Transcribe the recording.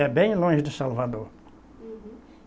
É bem longe de Salvador. Uhum.